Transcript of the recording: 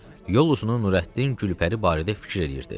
Yol usunu Nurəddin Gülpəri barədə fikir eləyirdi.